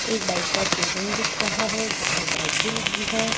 एक बाइक का शोरूम दिख रहा है जिसमें बाइके लगी है।